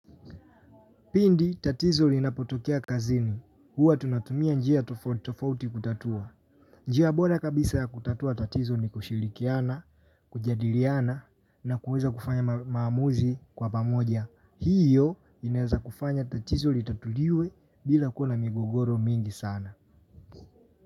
Pindi tatizo linapotokea kazini, huwa tunatumia njia tofautitofauti kutatua. Njia bora kabisa ya kutatua tatizo ni kushirikiana, kujadiliana na kuweza kufanya maamuzi kwa pamoja. Hiyo inaeza kufanya tatizo litatuliwe bila kuwa na migogoro mingi sana.